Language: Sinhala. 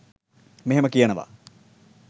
මෙහෙම කියනවා..